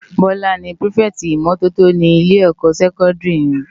Bola ni pirifèti imòtótó ni ilé sèkòndiri yèn